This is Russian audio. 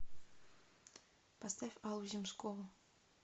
поставь аллу земскову